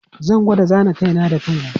Zan gwada zana kai na da kai na.